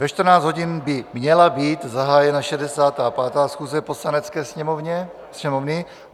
Ve 14 hodin by měla být zahájena 65. schůze Poslanecké sněmovny.